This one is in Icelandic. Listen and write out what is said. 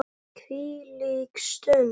Hvílík stund.